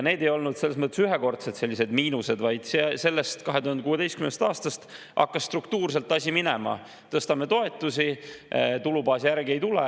Need ei olnud selles mõttes ühekordsed miinused, vaid 2016. aastast hakkas struktuurselt asi nii minema, et tõsteti toetusi, aga tulubaas järgi ei tulnud.